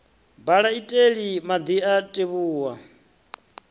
bala iteli madi a tevhuwa